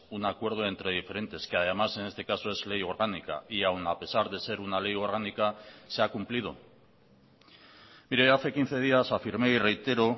un acuerdo entre diferentes que además en este caso es ley orgánica y aun a pesar de ser una ley orgánica se ha cumplido mire hace quince días afirmé y reitero